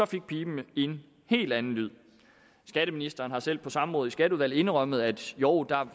fik piben en helt anden lyd skatteministeren har selv på samråd i skatteudvalget indrømmet at jo der